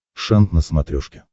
шант на смотрешке